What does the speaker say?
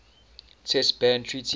test ban treaty